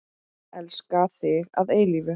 Elska þig að eilífu.